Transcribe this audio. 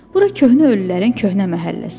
Bura köhnə ölülərin köhnə məhəlləsidir.